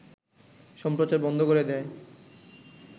সম্প্রচার বন্ধ করে দেয়